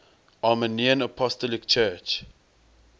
armenian apostolic church